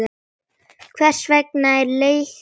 Hvers vegna er leiknum lokið?